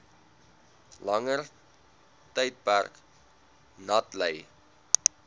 langer tydperk natlei